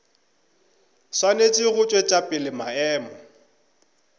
swanetše go tšwetša pele maemo